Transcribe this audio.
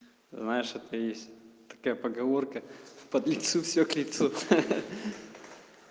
знаешь что ты есть такая поговорка подлецу все к лицу